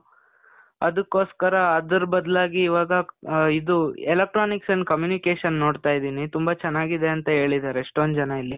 ಅದುಕ್ಕೋಸ್ಕರ ಅದರ್ ಬದ್ಲಾಗಿ ಇವಾಗ ಆ, ಇದು, electronics and communication ನೋಡ್ತಾ ಇದೀನಿ. ತುಂಬ ಚನಾಗಿದೆ ಅಂತ ಹೇಳಿದರೆ ಎಷ್ಟೊಂದ್ ಜನ ಇಲ್ಲಿ.